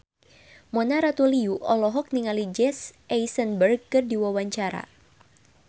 Mona Ratuliu olohok ningali Jesse Eisenberg keur diwawancara